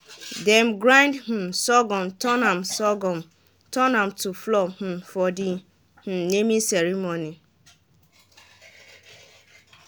dem grind um surghum turn am surghum turn am to flour um for de um naming ceremony